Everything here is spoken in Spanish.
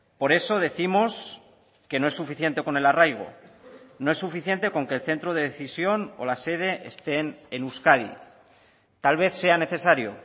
por eso décimos que no es suficiente con el arraigo no es suficiente con que el centro de decisión o la sede estén en euskadi tal vez sea necesario